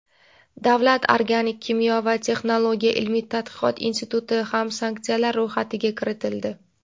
Davlat organik kimyo va texnologiya ilmiy-tadqiqot instituti ham sanksiyalar ro‘yxatiga kiritildi.